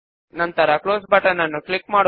ఇప్పుడు finish button పైన click చేద్దాము